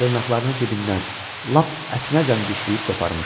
Dırnaqlarını dibindən lap ətinəcən dişləyib qoparmışdı.